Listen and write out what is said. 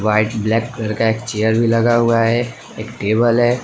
White black colour का एक chair भी लगा हुआ है एक टेबल है।